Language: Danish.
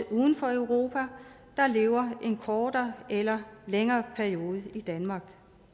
uden for europa der lever en kortere eller længere periode i danmark